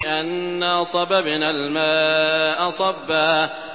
أَنَّا صَبَبْنَا الْمَاءَ صَبًّا